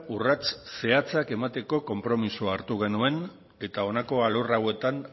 urrats zehatzak emateko konpromisoa hartu genuen eta honako alor hauetan